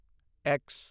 X